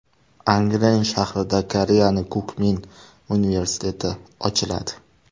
Angren shahrida Koreyaning Kukmin universiteti ochiladi.